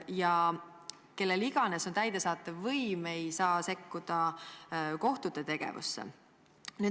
Ja kellel iganes on täidesaatev võim, ei saa sekkuda kohtute tegevusse.